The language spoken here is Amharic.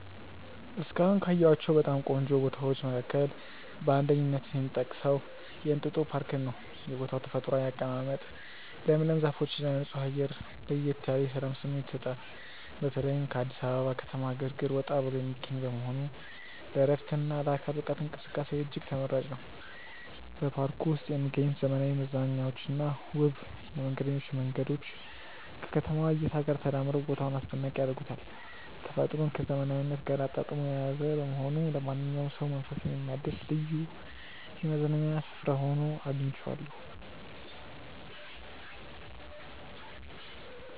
እስካሁን ካየኋቸው በጣም ቆንጆ ቦታዎች መካከል በአንደኝነት የምጠቀሰው የእንጦጦ ፓርክን ነው። የቦታው ተፈጥሯዊ አቀማመጥ፣ ለምለም ዛፎችና ንጹህ አየር ለየት ያለ የሰላም ስሜት ይሰጣል። በተለይም ከአዲስ አበባ ከተማ ግርግር ወጣ ብሎ የሚገኝ በመሆኑ ለዕረፍትና ለአካል ብቃት እንቅስቃሴ እጅግ ተመራጭ ነው። በፓርኩ ውስጥ የሚገኙት ዘመናዊ መዝናኛዎችና ውብ የመንገደኞች መንገዶች ከከተማዋ እይታ ጋር ተዳምረው ቦታውን አስደናቂ ያደርጉታል። ተፈጥሮን ከዘመናዊነት ጋር አጣጥሞ የያዘ በመሆኑ ለማንኛውም ሰው መንፈስን የሚያድስ ልዩ የመዝናኛ ስፍራ ሆኖ አግኝቼዋለሁ።